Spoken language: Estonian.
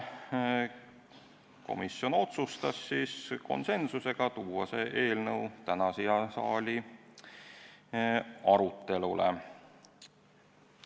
Komisjon otsustas konsensuslikult saata selle eelnõu täna siia saali arutelule.